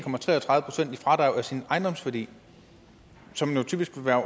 procent i fradrag af sin ejendomsværdi som jo typisk vil være